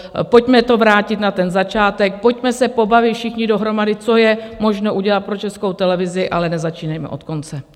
Pojďme to vrátit na ten začátek, pojďme se pobavit všichni dohromady, co je možno udělat pro Českou televizi, ale nezačínejme od konce.